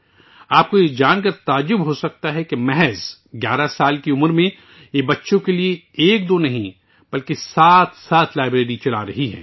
آپ کو یہ جان کر حیرت ہوگی کہ صرف 11 سال کی عمر میں وہ بچوں کے لیے ایک یا دو نہیں بلکہ سات سات لائبریریاں چلا رہی ہے